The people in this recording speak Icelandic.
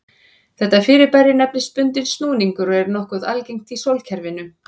Þetta fyrirbæri nefnist bundinn snúningur og er nokkuð algengt í sólkerfinu.